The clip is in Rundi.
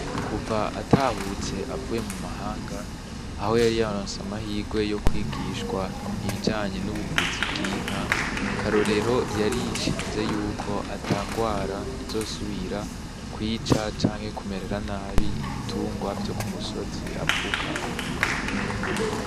Kuva atahutse avuye mu mahanga aho yayaronse amahirwe yo kwigishwa ibijyanye n'ubuvuzi bw'inka Karorero yarishinze yuko atangwara izosubira kwica canke kumera nabi ibitungwa vyo ku musozi avukako.